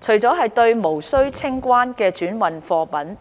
除了對無須清關的轉運貨品